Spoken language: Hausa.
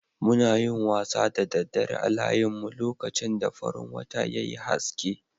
Muna yin wasa da daddare a layinmun, lokacin da farin wata ya yi aske.